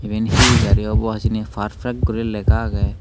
iben he gari obo hijeni perfect guri lega agey.